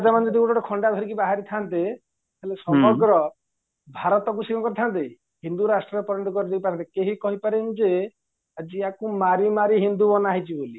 ରାଜା ମାନେ ଯଦି ଗୋଟେ ଗୋଟେ ଖଣ୍ଡା ଧରିକି ବାହାରିଥାନ୍ତେ ହେଲେ ସମଗ୍ର ଭାରତକୁ ସିଏ କ'ଣ କରିଥାନ୍ତେ ହିନ୍ଦୁ ରାଷ୍ଟ୍ରରେ ପରିଣତ କରିଦେଇଥାନ୍ତେ କେହି କହିପାରିବାନିଯେ ଆଜିୟାକୁ ମାରି ମାରି ହିନ୍ଦୁ ବନାହେଇଛି ବୋଲି